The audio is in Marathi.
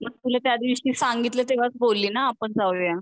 मग तुला त्यादिवशी सांगितलं तेवाच बोलली ना आपण जाऊया